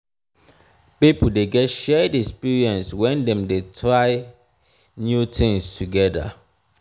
pipo de get shared experience when dem dem de try new things together